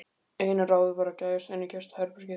Eina ráðið var að gægjast inn í gestaherbergið.